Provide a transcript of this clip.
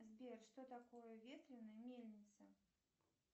сбер что такое ветряная мельница